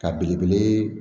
Ka belebele